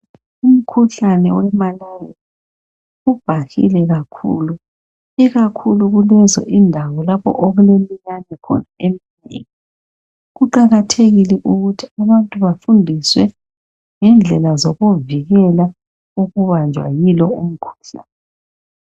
Umkhuhlane wemalaria ubhahile kakhulu ikakhulu kulezo indawo lapho okulemiyane khona eminengi. Kuqakathekile ukuthi abantu bafundiswe ngendlela zokuzivikela ukubanjwa yilo umkhuhlane.